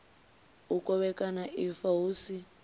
u kovhekana ifa hu si